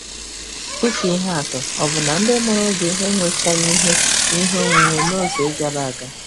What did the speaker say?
Dị ka ihe atụ, ọ̀ bụ na ndị mụrụ gị enwechaghị ihe ihe onwunwe n'oge gara aga?